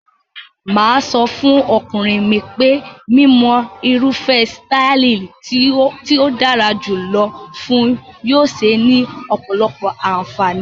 Mà á sọ fún ọkùnrin mi pé mímọ irúfẹ́ sítáálì tó dára jù lọ fun yóò ṣé ní ọ̀pọ̀lọpọ̀ àǹfààní.